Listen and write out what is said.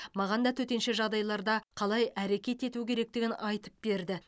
маған да төтенше жағдайларда қалай әрекет ету керектігін айтып берді